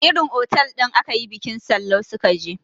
Irin otal ɗin akayi bikin Sallau su ka je